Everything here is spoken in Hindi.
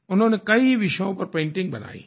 उन्होंने कई विषयों पर पेंटिंग्स बनाई हैं